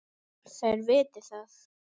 Þær viti það.